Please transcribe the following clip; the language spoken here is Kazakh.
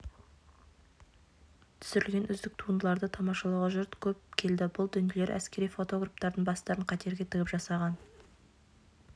түсірілген үздік туындыларды тамашалауға жұрт көп келді бұл дүниелер әскери фотографтардың бастарын қатерге тігіп жасаған